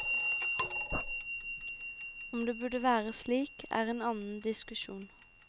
Om det burde være slik, er en annen diskusjon.